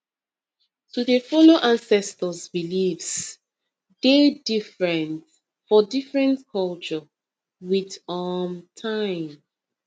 to dey follow ancestors beliefs deh different for different culture with um time